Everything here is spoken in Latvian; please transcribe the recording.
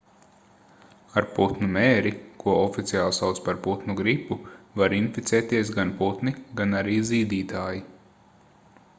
ar putnu mēri ko oficiāli sauc par putnu gripu var inficēties gan putni gan arī zīdītāji